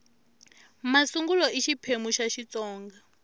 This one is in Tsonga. masungulo xiphemu xa ii xitsonga